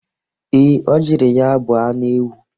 Ee, o jiri ya bụ anụ ewu.